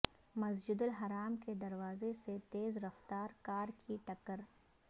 مسجد الحرام کے دروازے سے تیز رفتار کار کی ٹکر